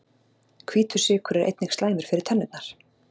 Hvítur sykur er einnig slæmur fyrir tennurnar.